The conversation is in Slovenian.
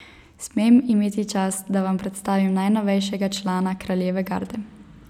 Smem imeti čast, da vam predstavim najnovejšega člana kraljeve garde?